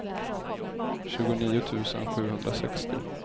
tjugonio tusen sjuhundrasextio